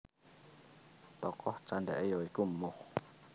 Tokoh candhake ya iku Moh